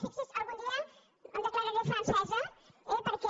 fixi’s algun em dia em declararé francesa eh perquè